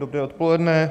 Dobré odpoledne.